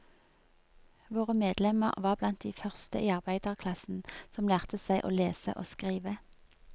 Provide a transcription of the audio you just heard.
Våre medlemmer var de blant de første i arbeiderklassen som lærte seg å lese og skrive.